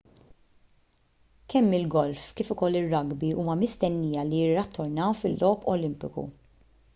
kemm il-golf kif ukoll ir-rugby huma mistennija li jirritornaw fil-logħob olimpiku